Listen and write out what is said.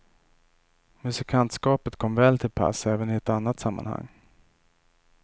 Musikantskapet kom väl till pass även i ett annat sammanhang.